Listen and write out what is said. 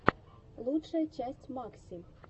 лучшая часть макси